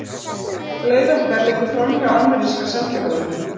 Leið okkar liggur framhjá ameríska sendiráðinu.